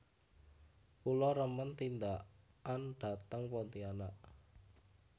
Kula remen tindakan dhateng Pontianak